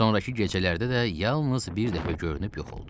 Sonrakı gecələrdə də yalnız bir dəfə görünüb yox oldu.